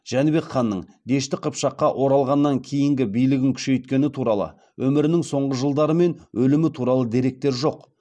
жәнібек ханның дешті қыпшаққа оралғаннан кейін билігін күшейткені туралы өмірінің соңғы жылдары мен өлімі туралы деректер жоқ